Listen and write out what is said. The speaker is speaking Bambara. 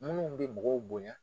Minnu bɛ mɔgɔw bonya